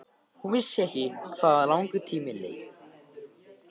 Hún vissi ekki hvað langur tími leið.